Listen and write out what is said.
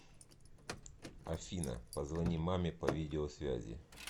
афина позвони маме по видеосвязи